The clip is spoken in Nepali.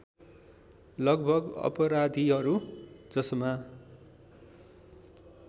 लगभग अपराधीहरू जसमा